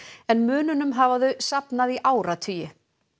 en mununum hafa þau safnað í áratugi